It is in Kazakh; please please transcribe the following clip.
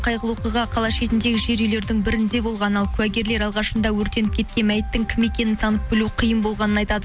қайғылы оқиға қала шетіндегі жер үйлердің бірінде болған ал куәгерлер алғашында өртеніп кеткен мәйіттің кім екенін танып білу қиын болғанын айтады